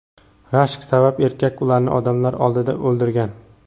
Rashk sabab erkak ularni odamlar oldida o‘ldirgan.